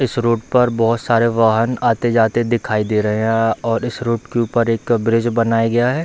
इस रोड पर बहोत सारे वाहन आते-जाते दिखाई दे रहे हैं और इस रोड के ऊपर एक ब्रिज बनाया गया है।